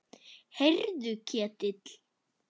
Heyrðu Ketill.